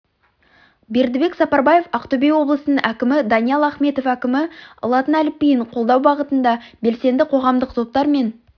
бердібек сапарбаев ақтөбе облысының әкімі даниал ахметов әкімі латын әліпбиін қолдау бағытында белсенді қоғамдық топтар мен